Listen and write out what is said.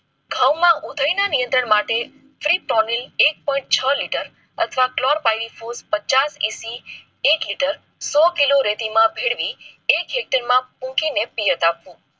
ઘઉંમાં ઉધઈ ના નિયંત્રણ માટે ફી ટોનિક એક પોઇન્ટ છ લીટર અથવા ક્લૉફાઇન પચાસ સીસી એક લીટર સો કિલો રેતી માં ભેળવવી